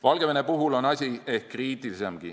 Valgevene puhul on asi ehk kriitilisemgi.